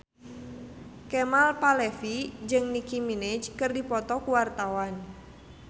Kemal Palevi jeung Nicky Minaj keur dipoto ku wartawan